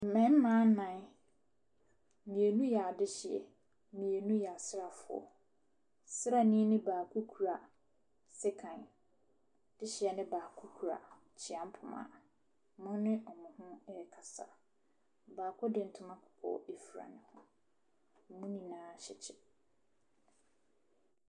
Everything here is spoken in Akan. Mmarima nnan, mmienu yɛ adehyeɛ, mmienu yɛ asraafo. Ɔsraani no baako kura sekan, dehyeɛ no baako kura abusua poma, wɔne wɔn ho ɛrekasa. Baako de ntoma kɔkɔɔ afura, wɔn nyinaa hyɛ kyɛ.